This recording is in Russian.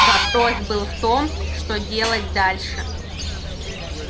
вопрос был в том что делать дальше